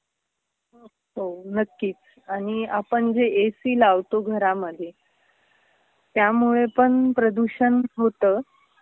हो नक्कीच. आणि आपण जे ए.सी. लावतो घरामध्ये त्यामुळेपण प्रदूषण होत.